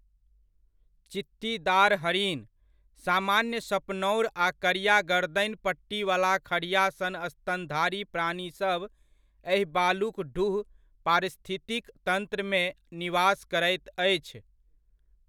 चित्तीदार हरिण, सामान्य सपनौर आ करिआ गर्दनि पट्टीवला खढ़िआ सन स्तनधारी प्राणीसभ एहि बालुक ढूह पारिस्थितिक तन्त्रमे निवास करैत अछि।